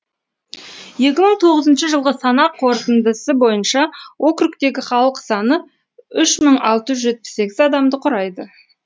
екі мың тоғызыншы жылғы санақ қорытындысы бойынша округтегі халық саны үш мың алты жүз жетпіс сегіз адамды құрайды